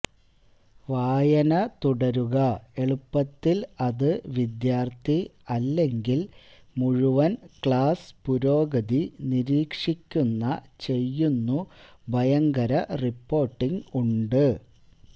വായന തുടരുക എളുപ്പത്തിൽ അത് വിദ്യാർത്ഥി അല്ലെങ്കിൽ മുഴുവൻ ക്ലാസ് പുരോഗതി നിരീക്ഷിക്കുന്ന ചെയ്യുന്നു ഭയങ്കര റിപ്പോർട്ടിംഗ് ഉണ്ട്